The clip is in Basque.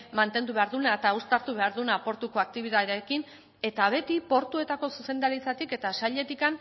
mantendu behar duena eta uztartu behar duena portuko aktibitatearekin eta beti portuetako zuzendaritzatik eta sailetik